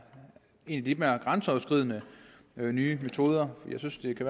en lidt mere grænseoverskridende nye metoder jeg synes det kan